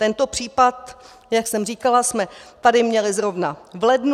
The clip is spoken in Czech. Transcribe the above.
Tento případ, jak jsem říkala, jsme tady měli zrovna v lednu.